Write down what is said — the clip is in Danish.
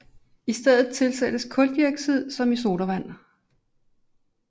I stedet tilsættes kuldioxid som i sodavand